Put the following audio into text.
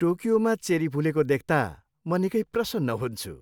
टोकियोमा cherry फुलेको देख्ता म निकै प्रसन्न हुन्छु।